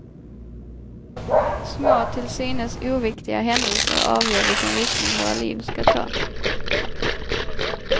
Små till synes oviktiga händelser avgör vilken riktning våra liv ska ta.